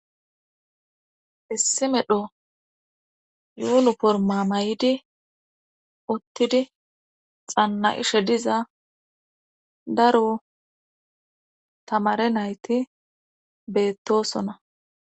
issi medho yuunu porma may7idi ottidi xanna7ishe diza daro tamare nayti beettosona